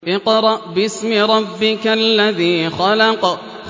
اقْرَأْ بِاسْمِ رَبِّكَ الَّذِي خَلَقَ